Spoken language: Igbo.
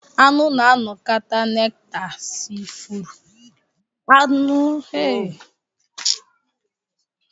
Aṅụ na-anakọta nekta si ifuru.